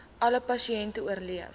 alle pasiënte oorleef